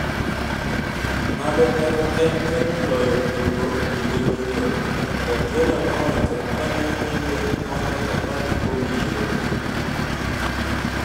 "Ng'ado paro en temo loyo tugo kinde duto", Guardiola nowacho, kane openje mondo opar kuom yiero timne.